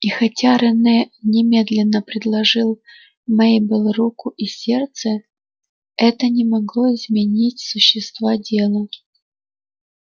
и хотя рене немедленно предложил мейбелл руку и сердце это не могло изменить существа дела